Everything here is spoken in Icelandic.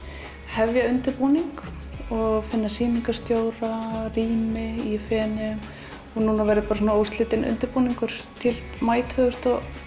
hefja undirbúning finna sýningarstjóra og rými í Feneyjum nú verður bara óslitinn undirbúningur til í maí tvö þúsund